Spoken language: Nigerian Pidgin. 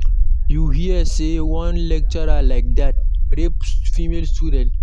You hear say one lecturer like dat rape female student?